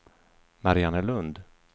Mariannelund